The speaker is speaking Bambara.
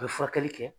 A bɛ furakɛli kɛ